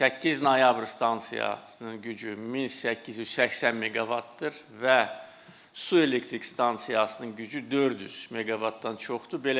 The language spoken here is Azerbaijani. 8 noyabr stansiyasının gücü 1880 meqavatdır və su elektrik stansiyasının gücü 400 meqavatdan çoxdur.